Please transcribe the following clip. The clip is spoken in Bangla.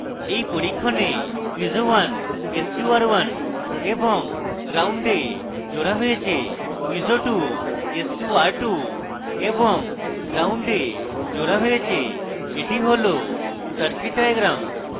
in পরীক্ষণে piezo 1 sqr1 এবং ground gnd এ জোড়া হয়েছে piezo 2 sqr2 এবং ground gnd এ জোড়া হয়েছে এটি হল circuit diagram